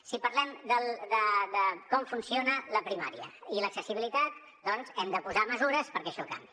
si parlem de com funciona la primària i l’accessibilitat doncs hem de posar mesures perquè això canviï